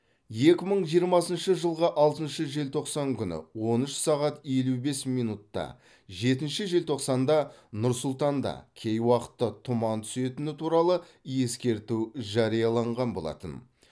екі мың жиырмасыншы жылғы алтыншы желтоқсан күні он үш сағат елу бес минутта жетінші желтоқсанда нұр сұлтанда кей уақытта тұман түсетіні туралы ескерту жарияланған болатын